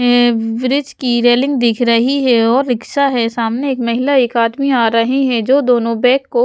हैं ब्रिज की रेलिंग दिख रही है और रिक्शा है सामने एक महिला एक आदमी आ रही है जो दोनों बैग को --